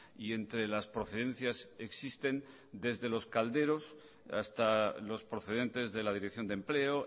y entre las procedencias existen desde los calderos hasta los procedentes de la dirección de empleo